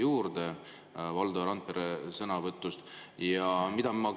Mina sain Valdo Randpere sõnavõtust teadmisi juurde.